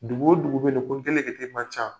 Dugu o dugu bɛ ko gele gele man ca.